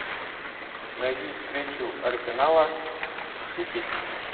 найди встречу арсенала с сити